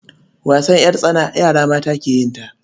Wasan ƴartsana yara mata ke yin sa.